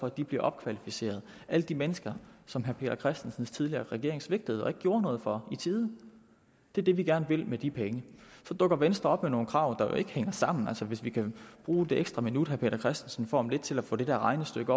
at de bliver opkvalificeret alle de mennesker som herre peter christensens tidligere regering svigtede og ikke gjorde noget for i tide det er det vi gerne vil med de penge så dukker venstre op med nogle krav der jo ikke hænger sammen altså hvis vi kan bruge det ekstra minut herre peter christensen får om lidt til at få det der regnestykke